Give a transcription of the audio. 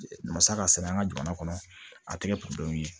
Masa ka sɛnɛ an ka jamana kɔnɔ a tɛ kɛ ye